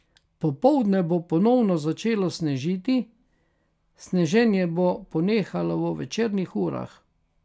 Popoldne bo ponovno začelo snežiti, sneženje bo ponehalo v večernih urah.